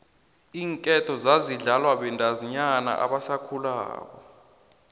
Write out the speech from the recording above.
iinketo zazidlalwa bantazinyana abasakhulako